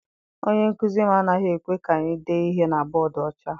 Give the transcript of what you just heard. Onye nkụzi m anaghị ekwe ka anyị dee ihe na bọdu ọcha.